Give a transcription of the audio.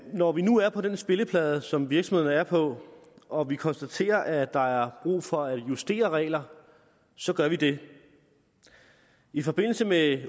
når vi nu er på den spilleplade som virksomhederne er på og vi konstaterer at der er brug for at justere regler så gør vi det i forbindelse med